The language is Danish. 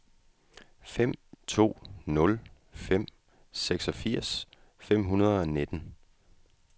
fem to nul fem seksogfirs fem hundrede og nitten